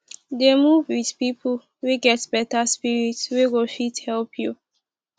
dey move wit pipo wey get beta spirit wey go fit help you